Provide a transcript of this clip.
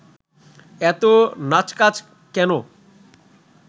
এত নাচকাচ কেন